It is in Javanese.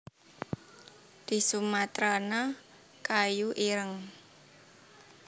D sumatrana kayu ireng